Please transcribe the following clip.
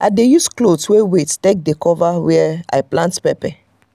i dey use cloth wey wet take dey cover were i plant pepper.